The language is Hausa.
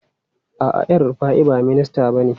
A'a, El Rufai ba minista bane.